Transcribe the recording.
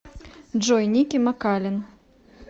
джой ники макалин